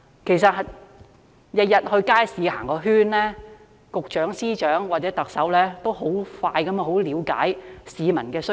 其實，只要每天到街市逛個圈，局長、司長或特首便可以很快速地了解到市民的需求。